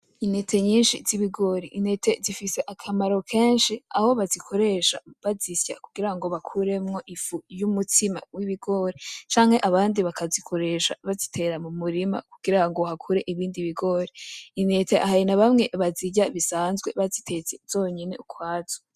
Intete nyinshi z'ibigori, intete zifise akamaro kenshi aho bazikoresha bazisya kugira ngo bakuremwo ifu y'umutsima w'ibigori canke abandi bakazikoresha bazitera mu murima kugira ngo hakure ibindi bigori, intete hari n'abamwe bazirya bisanzwe bazitetse zonyene ukwazo.